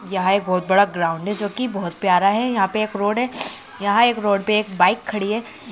यहाँ एक बहुत बड़ा ग्राउंड हैजो की बहुत प्यारा है यहां पे एक रोड हैं यहाँ एक रोड पे एक बाइक खड़ी है।